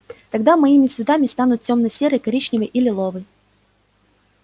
тогда моими цветами станут тёмно-серый коричневый и лиловый